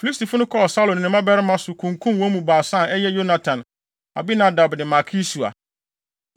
Filistifo no kɔɔ Saulo ne ne mmabarima so, kunkum wɔn mu baasa a ɛyɛ Yonatan, Abinadab ne Malki-Sua.